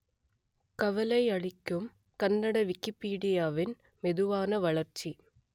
கவலை அளிக்கும் கன்னட விக்கிப்பீடியாவின் மெதுவான வளர்ச்சி